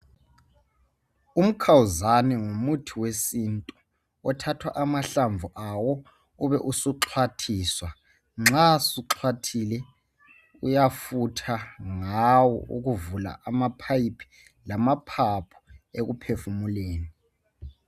Umkhawuzane ngumuthi wesintu othatha amahlamvu awo ube usixwathiswa nxa suxhwathile uyafutha ngawo ukuvuka amapipe lamaphaphu ekuphefumuleni